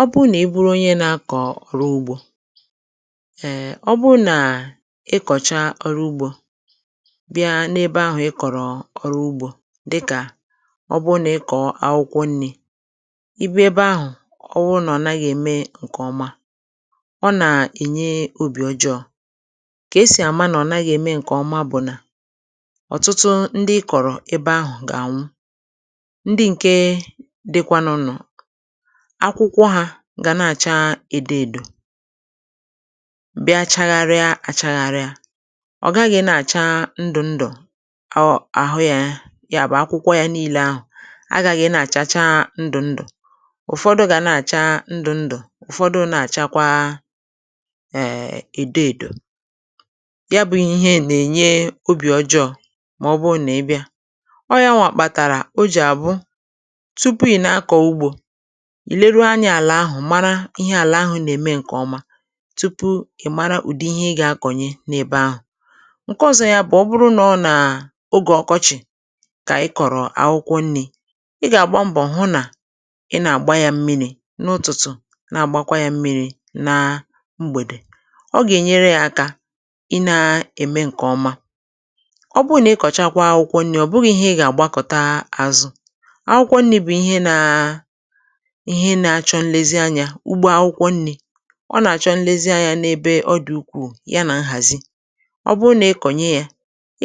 Ọ bụ nà i buru onye na-akọ̀ ọrụ ugbȯ[um], ọ bụ nà ịkọ̀cha ọrụ ugbȯ bịa n’ebe ahụ̀ ịkọ̀rọ ọrụ ugbȯ; dịkà ọ bụ nà ịkọ̀ọ akwụkwọ nni̇, ị bịa ebe ahụ̀ ọ wụ nà ọ naghị eme ǹkè ọma ọ nà-ènye obì ọjọọ̇; kà esì àma nà ọ naghị eme ǹkè ọma bụ̀ nà, ọtụtụ ndị ikọ̀rọ̀ ebe ahụ̀ gà-ànwụ; ndị ǹke dịkwa na akwụkwọ hȧ gà na-àcha èdo èdò, bịa chagharịa àchagharià; ọ̀ gaghị̇ na-àcha ndụ̇ ndụ̀ um àhụ yȧ ya bụ̀ akwụkwọ, yȧ niile ahụ̀ agà gị̇ na-àcha chaa ndụ̀ ndụ̀; ụ̀fọdụ gà na-àcha ndụ̇ ndụ̀ ụ̀fọdụ na-àchakwa[Um] èdo èdò. Ya bụ̇ ihe nà-ènye obì ọjọọ màọbụ na-ịbịȧ, ọ ya nwà kpàtàrà o jì àbụ tupu ị̀ na-akọ̀ ugbȯ ìleru anya àlà ahụ̀ mara ihe àlà ahụ̀ nà-ème ǹkèọma tupu ị̀ mara ùdi ihe ị gà-akọ̀nye n’ebe ahụ̀. Nke ọ̇zọ̇ yȧ bụ̀ ọ bụrụ nà ọ nà ogè ọkọchị̀ kà ị kọ̀rọ̀ akwụkwọ nni̇, ị gà-àgba mbọ̀ hụ nà ị nà-àgba yȧ mmiri̇ n’ụ̀tụtụ̀, na-àgbakwa yȧ mmiri̇ na mgbèdè. Ọ gà-ènyere yȧ akȧ ị na-ème ǹkèọma. Ọ bụrụ nà ị kọ̀chakwa akwụkwọ nni̇, ọ̀ bụghị̇ ihe ị ga àgbakọ̀ta azụ̇ ;akwụkwọ nni̇ bụ̀ ihe nȧ ihe na-achọ nlezị Anya, ugbȧ akwụkwọ nni̇ ọ nà-àchọ nlezianyȧ n’ebe ọ dị̀ ukwuù ya nà nhàzi. Ọ bụrụ nà ị kọ̀nye yȧ,